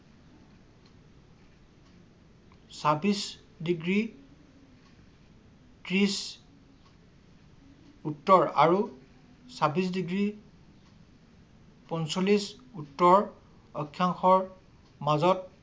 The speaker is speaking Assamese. ছাবিচ ডিগ্ৰী তিছ উত্তৰ আৰু ছাবিচ ডিগ্ৰী পঞ্চলিচ উত্তৰ অক্ষাংশৰ মাজত